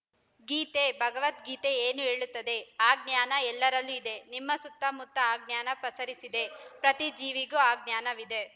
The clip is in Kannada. ಗೀತೆ ಭಗವದ್ಗೀತೆ ಏನು ಹೇಳುತ್ತದೆ ಆ ಜ್ಞಾನ ಎಲ್ಲರಲ್ಲೂ ಇದೆ ನಿಮ್ಮ ಸುತ್ತಮುತ್ತ ಆ ಜ್ಞಾನ ಪಸರಿಸಿದೆ ಪ್ರತಿ ಜೀವಿಗೂ ಆ ಜ್ಞಾನವಿದೆ